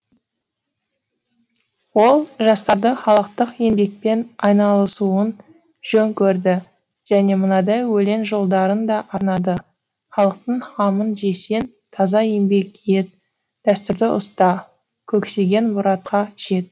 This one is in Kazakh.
ол жастарды халықтық еңбекпен айналысуын жөн көрді және мынадай өлең жолдарын да арнады халықтың қамын жесең таза еңбек ет дәстүрді ұста көксеген мұратқа жет